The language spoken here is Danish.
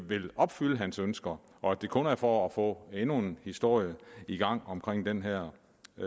vil opfylde hans ønsker og at det kun er for at få endnu en historie i gang om den her